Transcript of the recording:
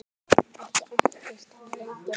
Ekki entist hún lengi þar.